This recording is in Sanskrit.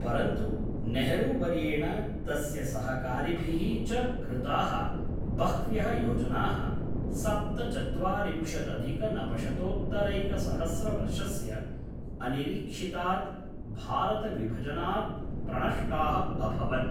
परन्तु नेहरूवर्येण तस्य सहकारिभिः च कृताः बह्व्यः योजनाः सप्तचत्वारिंशदधिकनवशतोत्तरैकसहस्रवर्षस्य अनिरीक्षितात् भारतविभजनात् प्रणष्टाः अभवन्।